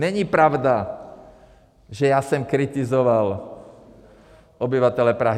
Není pravda, že já jsem kritizoval obyvatele Prahy.